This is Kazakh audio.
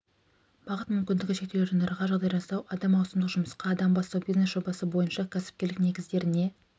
бағыт мүмкіндігі шектеулі жандарға жағдай жасау адам маусымдық жұмысқа адам бастау бизнес жобасы бойынша кәсіпкерлік негіздеріне